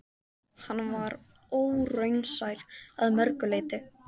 Hann var óraunsær að mörgu leyti.